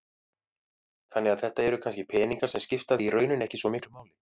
Þannig að þetta eru kannski peningar sem skipta þig í rauninni ekki svo miklu máli?